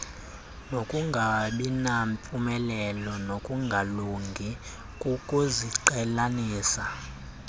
nokungabinampumelelo nokungalungi kokuziqhelanisa